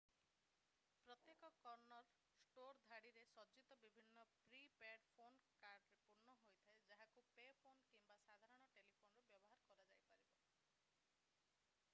ପ୍ରତ୍ୟେକ corner store ଧାଡ଼ିରେ ସଜ୍ଜିତ ବିଭିନ୍ନ ପ୍ରି-ପେଡ୍ ଫୋନ୍ କାର୍ଡରେ ପୂର୍ଣ୍ଣ ହୋଇଥାଏ ଯାହାକୁ ପେ ଫୋନ୍ କିମ୍ବା ସାଧାରଣ ଟେଲିଫୋନ୍‌ରୁ ବ୍ୟବହାର କରାଯାଇପାରିବ।